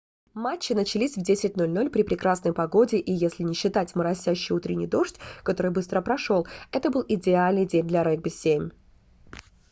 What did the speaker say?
матчи начались в 10:00 при прекрасной погоде и если не считать моросящий утренний дождь который быстро прошёл это был идеальный день для регби-7